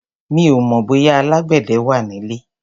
Mi ò mọ̀ bóyá alágbẹ̀dẹ wà nílé.